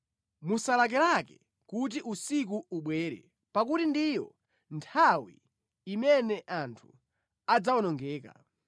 Musalakalake kuti usiku ubwere, pakuti ndiyo nthawi imene anthu adzawonongeka.